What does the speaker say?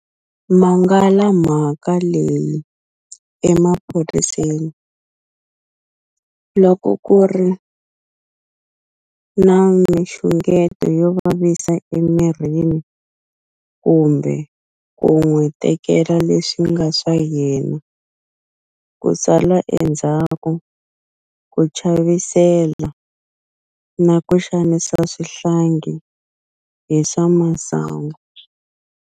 Mangala mhaka leyi emaphoriseni loko ku ri na mixungeto yo vavisa emirini kumbe ku n'wi tekela leswi nga swa yena, ku sala endzhaku, ku chavisela, na ku xanisa swihlangi hi swa masangu.